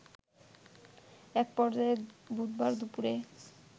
এক পর্যায়ে বুধবার দুপুরে